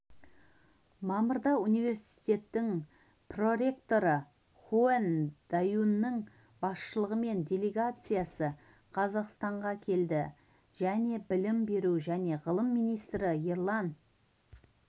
мамырда университеттің проректоры хун даюнның басшылығымен делегациясы қазақстанға келді және білім беру және ғылым министрі ерлан